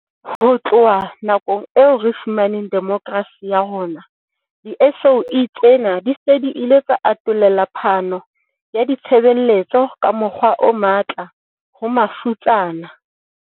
Ho tloha nakong eo re fumaneng demokrasi ka yona, di-SOE tsena di se di ile tsa atollela phano ya ditshebeletso ka mokgwa o matla ho mafutsana.